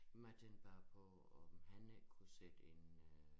Men jeg tænkte bare på om han ikke kunne sætte en øh